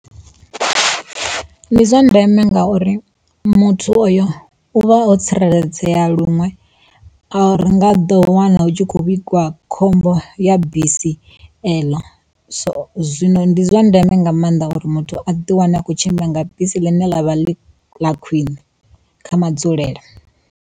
Ndi zwa ndeme ngauri muthu oyo uvha o tsireledzea luṅwe. A ri nga ḓo wana u tshi kho vhigwa khombo ya bisi eḽo, so zwino ndi zwa ndeme nga maanḓa uri muthu a ḓi wane a khou tshimbila nga bisi ḽine ḽa vha ḽi ḽa khwiṋe kha madzulele.